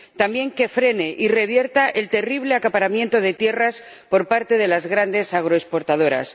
también que frene y revierta el terrible acaparamiento de tierras por parte de las grandes agroexportadoras.